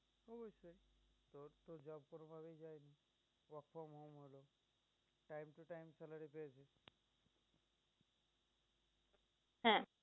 হ্যাঁ